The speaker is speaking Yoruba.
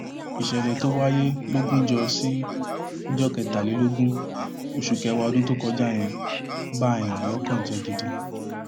ìṣẹlẹ tó wáyé lógúnjọ sí ọjọ kẹtàlélógún oṣù kẹwàá ọdún tó kọjá yẹn bààyàn lọkàn jẹ gidi